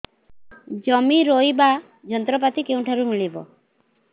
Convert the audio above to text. ଜମି ରୋଇବା ଯନ୍ତ୍ରପାତି କେଉଁଠାରୁ ମିଳିବ